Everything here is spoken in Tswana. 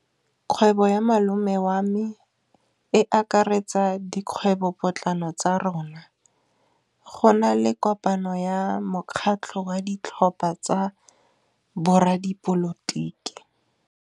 Kgwêbô ya malome wa me e akaretsa dikgwêbôpotlana tsa rona. Go na le kopanô ya mokgatlhô wa ditlhopha tsa boradipolotiki.